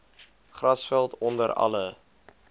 grasveld onder alle